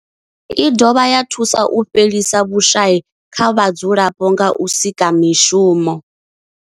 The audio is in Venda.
I dovha ya thusa u fhelisa vhushayi kha vhadzulapo nga u sika mishumo.